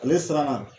Ale siranna